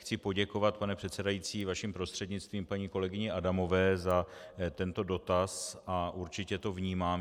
Chci poděkovat, pane předsedající, vaším prostřednictvím paní kolegyni Adamové za tento dotaz a určitě to vnímám.